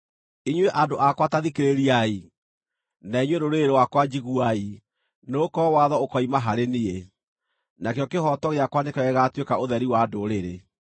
“Inyuĩ andũ akwa ta thikĩrĩriai, na inyuĩ rũrĩrĩ rwakwa, njiguai: Nĩgũkorwo watho ũkoima harĩ niĩ; nakĩo kĩhooto gĩakwa nĩkĩo gĩgaatuĩka ũtheri wa ndũrĩrĩ.